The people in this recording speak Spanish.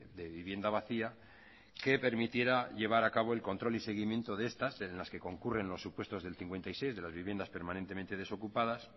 de vivienda vacía que permitiera llevar a cabo el control y seguimiento de estas de las que concurren los supuestos del cincuenta y seis de las viviendas permanentemente desocupadas